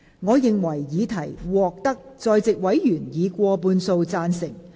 我認為議題獲得在席委員以過半數贊成。